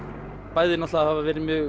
bæði hafa